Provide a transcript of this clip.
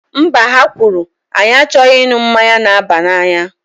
Mba, ha kwuru, anyị achọghị ịṅụ mmanya na-aba n'anya